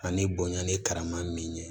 Ani bonya ni karama min ye